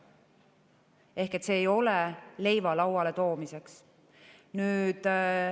Ehk see ei ole leiva lauale toomiseks.